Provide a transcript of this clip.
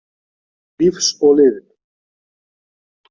Lífs og liðinn.